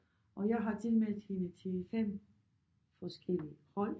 Og jeg har tilmeldt hende til 5 forskellige hold